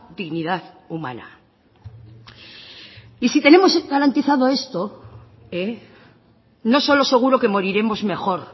dignidad humana y si tenemos garantizado esto no solo seguro que moriremos mejor